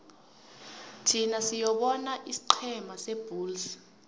thin siyobona isiqhema sebulls